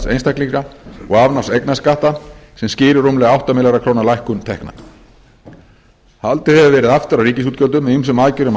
einstaklinga og afnáms eignarskatta sem skýrir rúmlega átta milljarða króna lækkun tekna haldið hefur verið aftur af ríkisútgjöldum með ýmsum aðgerðum á